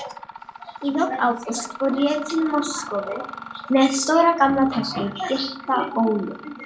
Í lok ágúst fór ég til Moskvu með stóra gamla tösku, gyrta ólum.